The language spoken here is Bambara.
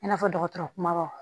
I n'a fɔ dɔgɔtɔrɔ kumabaw